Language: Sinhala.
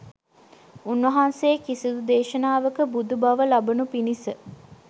උන්වහන්සේ කිසිදු දේශනාවක බුදු බව ලබනු පිණිස